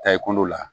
Ta i kundo la